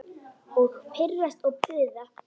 Og pirrast og puða.